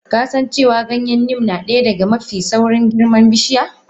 Kasancewa Ganyen neem nadaya daga mafi saurin girma bishiya?